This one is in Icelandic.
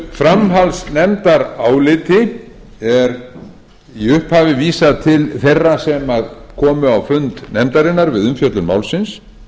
framhaldsnefndaráliti er í upphafi vísað til þeirra sem komu á fund nefndarinnar við umfjöllun málsins